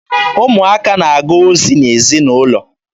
Ụmụaka na-aga ozi n'ezinaụlọ.